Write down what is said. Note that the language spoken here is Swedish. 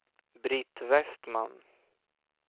Britt Vestman